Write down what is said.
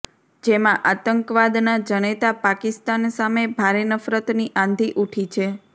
જેમાં આતંકવાદના જનેતા પાકિસ્તાન સામે ભારે નફરતની આંધી ઉઠી છે